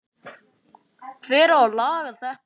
Hver á að laga þetta?